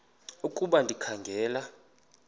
ukuba ndikha ngela